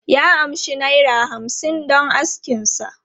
Ya amshi naira hamsin don askin sa.